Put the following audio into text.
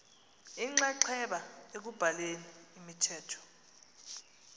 inxaxheba ekubhaleni imithetho